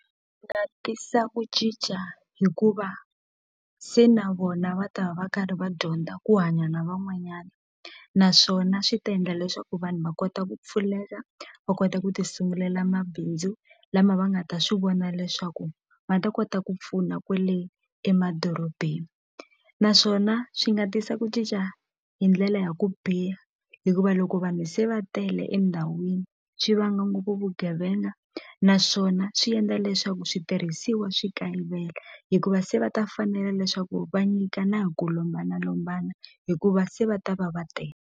tisa ku cinca hikuva se na vona va ta va va karhi va dyondza ku hanya na van'wanyana naswona swi ta endla leswaku vanhu va kota ku pfulela va kota ku ti sungulela mabindzu lama va nga ta swi vona leswaku ma ta kota ku pfuna kwele emadorobeni naswona swi nga tisa ku cinca hi ndlela ya ku biha hikuva loko vanhu se va tele endhawini swi vanga ngopfu vugevenga naswona swi endla leswaku switirhisiwa swi kayivela hikuva se va ta fanela leswaku va nyikana hi ku lombanalombana hikuva se va ta va va tele.